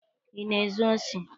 Ị na-ezu osi?